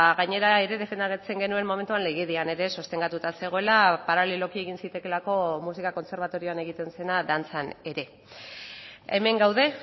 gainera ere defendatzen genuen momentuan legedian ere sostengatuta zegoela paraleloki egin zitekeelako musika kontserbatorioan egiten zena dantzan ere hemen gaude